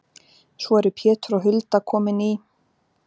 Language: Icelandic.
Svo eru Pétur og Hulda komin í